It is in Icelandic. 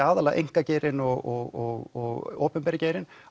að einkageirinn og opinberi geirinn